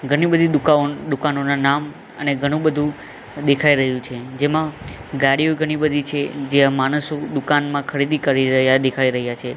ઘણી બધી દુકાન દુકાનોના નામ અને ઘણુ બધુ દેખાય રહ્યુ છે જેમા ગાડીઓ ઘણી બધી છે જ્યાં માણસો દુકાનમાં ખરીદી કરી રહ્યા દેખાય રહ્યા છે.